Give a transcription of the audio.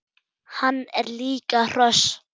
Hann er líka hross!